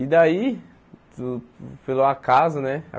E daí, por pelo acaso, né?